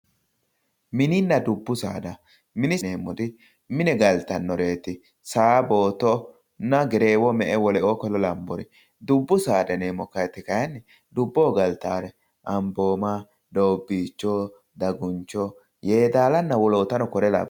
Mininna dubbu saada, minire yineemmori mine galtanoreti Saa, Boottonna Gerreewo me"e lawinoreti, dubbu saada yineemmori kayinni dubboho galtanore Amboma, Doobbicho, Daguncho, Yedalano woloottano kore labbanoreti.